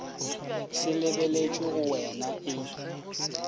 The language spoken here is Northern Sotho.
se lebeletšwe go wean e